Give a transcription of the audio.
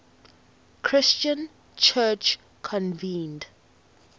christian church convened